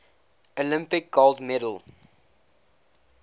olympic gold medal